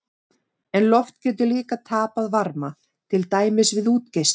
En loft getur líka tapað varma, til dæmis við útgeislun.